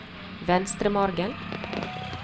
Venstremargen